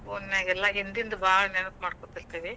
Phone ನ್ಯಾಗೆಲ್ಲ ಹಿಂದಿಂದ ಭಾಳ್ ನೆನಪ್ ಮಾಡ್ಕೋತಿರ್ತಿವಿ.